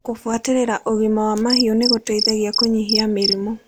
Kũbuatĩrĩra ũgima wa mahiũ nĩgũteithagia kũnyihia mĩrimũ.